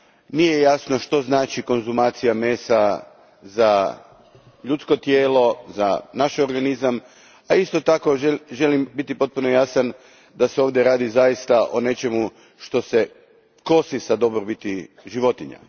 Nije jasno što konzumacija mesa znači za ljudsko tijelo, za naš organizam, a isto tako želim biti potpuno jasan da se ovdje radi o zaista nečemu što se kosi s dobrobiti životinja.